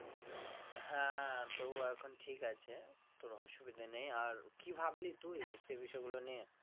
হ্যাঁ তো ও এখন ঠিক আছে, তোর অসুবিধে নেই আর কি ভাবলি তুই সেই বিষয়গুলো নিয়ে?